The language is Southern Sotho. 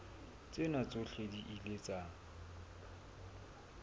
tsena tsohle di ile tsa